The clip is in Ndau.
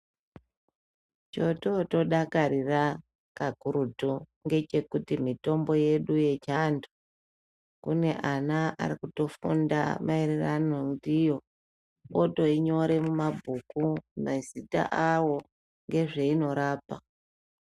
Chototodakarira kakurutu ngechekuti mitombo yedu yechiandu kune ana arikutofunda maererano ndiyo otoinyore mumabhuku mazita awo ngezveinorapa.